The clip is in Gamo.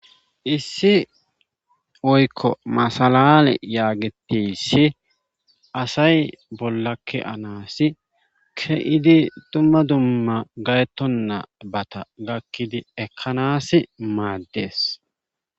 issi oykko masalale yaagitissi asay bollakke-anaassi ke7idi dumma dumma gayettonna bata gakkidi ekkanas maaddees